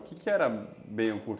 O que era meio o cur